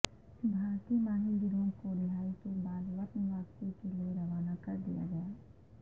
بھارتی ماہی گیروں کو رہائی کے بعد وطن واپسی کے لیے روانہ کر دیا گیا